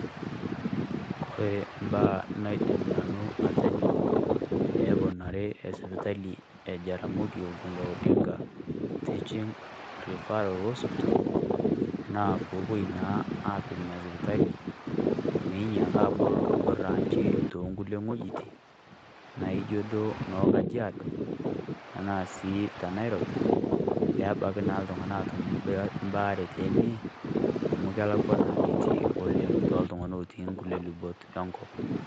Kore embaa naidim Nanu atejo peyie eponari esipitali e Jaramogi Odinga Oginga Teaching referral hospital, naa peepoi naa aapik Ina sipitali meinyiaki abol Nena branchi tokulie wejitin naijio duo noo Kajiado tenaa teNairobi peebaki naa iltung'anak aatum baare teine, amu kelakwa naa enetii oleng' tooltung'anak lotii ngulie rubat engop.